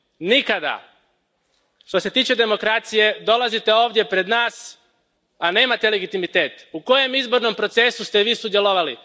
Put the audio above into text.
Nikada! Što se tiče demokracije, dolazite ovdje pred nas, a nemate legitimitet. U kojem izbornom procesu ste Vi sudjelovali?